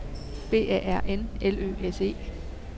B A R N L Ø S E